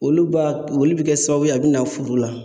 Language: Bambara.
Olu ba olu bi kɛ sababu ye a bi na furu la